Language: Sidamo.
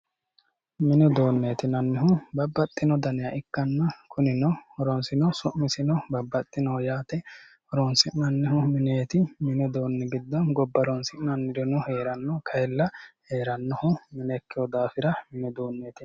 Mini uduuneti yinnannihu babbaxino danniha ikkanna kunino horosino su'misino babbaxinoho yaate horonsi'nannihu mineti mini uduuni giddo gobba horonsi'nannirino heerano kayinni heeranohulla mine ikkino daafira.